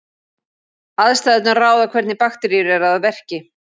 Aðstæðurnar ráða hvernig bakteríur eru að verki.